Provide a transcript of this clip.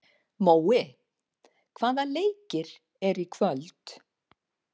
Mói, hvaða leikir eru í kvöld?